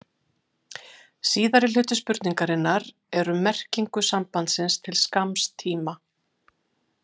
Síðari hluti spurningarinnar er um merkingu sambandsins til skamms tíma.